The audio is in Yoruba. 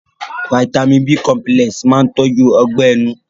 Fáítámì b cọmpílẹ̀s máa tọ́jú Ọgbẹ́ ẹnu